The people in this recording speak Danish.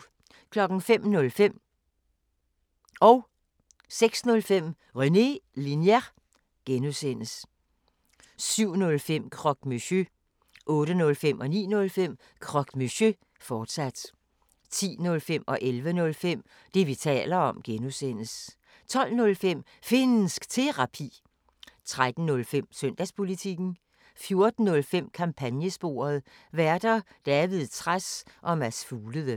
05:05: René Linjer (G) 06:05: René Linjer (G) 07:05: Croque Monsieur 08:05: Croque Monsieur, fortsat 09:05: Croque Monsieur, fortsat 10:05: Det, vi taler om (G) 11:05: Det, vi taler om (G) 12:05: Finnsk Terapi 13:05: Søndagspolitikken 14:05: Kampagnesporet: Værter: David Trads og Mads Fuglede